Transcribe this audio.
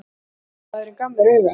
Ræðumaðurinn gaf mér auga.